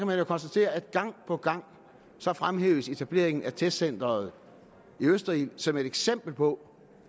man konstatere at gang på gang fremhæves etableringen af testcenteret i østerild som et eksempel på